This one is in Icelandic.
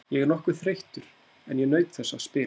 Ég er nokkuð þreyttur en ég naut þess að spila.